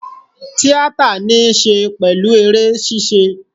Tíátà ní í ṣe pẹ̀lú eré ṣíṣe